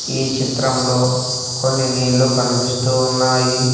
ఈ చిత్రంలో కొన్ని నీళ్లు కనిపిస్తూ ఉన్నాయి.